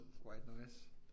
White noise